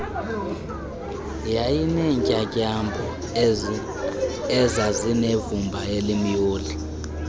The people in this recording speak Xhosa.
yayinentyatyambo ezazinevumba elimyoli